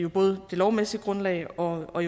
både det lovmæssige grundlag og og